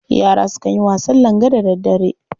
Yara sukan yin wasan langa da daddare.